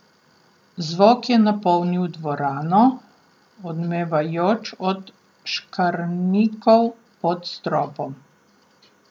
Zvok je napolnil dvorano, odmevajoč od škarnikov pod stropom.